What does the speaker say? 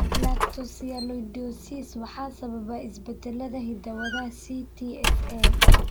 Galactosialidosis waxaa sababa isbeddellada hidda-wadaha CTSA.